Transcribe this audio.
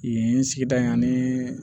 Yen sigida in ani